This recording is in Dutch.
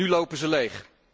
En nu lopen ze leeg.